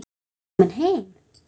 Komin heim?